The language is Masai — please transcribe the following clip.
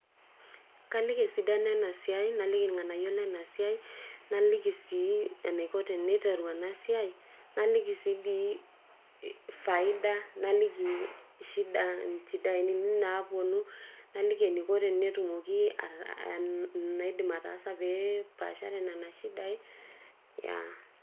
kaliki esidano ena siai, naliki, irng'anayio lena siai, naliki sii, enaiko teneiteru ena siai, naliki sii dii, faida, naliki shida, inchidai naapuonu, naliki eneidim ataasa pee epaashare nena sidai, yeah